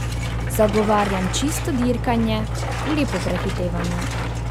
Zagovarjam čisto dirkanje, lepo prehitevanje.